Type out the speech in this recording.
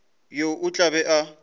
yo o tla be a